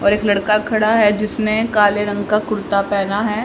और एक लड़का खड़ा है जिसने काले रंग का कुर्ता पहना है।